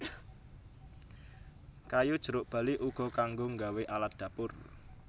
Kayu jeruk bali uga kanggo nggawe alat dapur